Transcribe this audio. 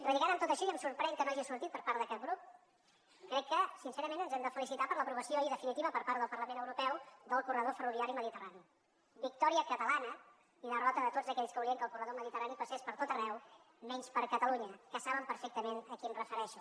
relligant amb tot això i em sorprèn que no hagi sortit per part de cap grup crec que sincerament ens hem de felicitar per l’aprovació ahir definitiva per part del parlament europeu del corredor ferroviari mediterrani victòria catalana i derrota de tots aquells que volien que el corredor mediterrani passés per tot arreu menys per catalunya que saben perfectament a qui em refereixo